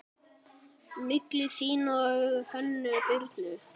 Milli þín og Hönnu Birnu?